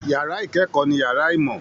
Yàrá ìkẹ́kọ̀ọ́ ni yàrá ìmọ̀